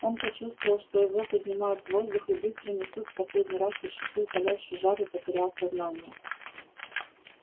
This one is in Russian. он почувствовал что его поднимают в воздух и быстро несут в последний раз ощутил палящий жар и потерял сознание